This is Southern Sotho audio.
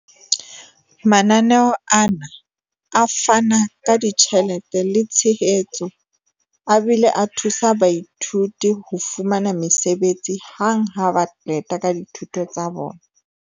Mananeo ana a fana ka ditjhelete le tshehetso a bile a thusa baithuti ho fumana mesebetsi hang ha ba qeta ka dithuto tsa bona.